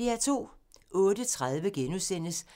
08:30: